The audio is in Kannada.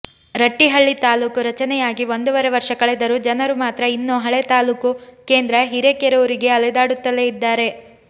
ರಟ್ಟಿಹಳ್ಳಿ ತಾಲೂಕು ರಚನೆಯಾಗಿ ಒಂದೂವರೆ ವರ್ಷ ಕಳೆದರೂ ಜನರು ಮಾತ್ರ ಇನ್ನೂ ಹಳೆ ತಾಲೂಕು ಕೇಂದ್ರ ಹಿರೇಕೆರೂರಿಗೆ ಅಲೆದಾಡುತ್ತಲೇ ಇದ್ದಾರೆ